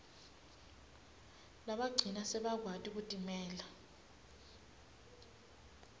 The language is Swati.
labagcina sebakwati kutimela